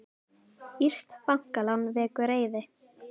Írskt bankalán vekur reiði